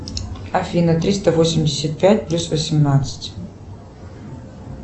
афина триста восемьдесят пять плюс восемнадцать